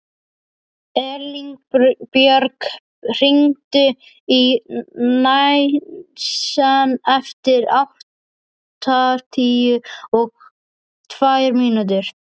Elínbjörg, hringdu í Nansen eftir áttatíu og tvær mínútur.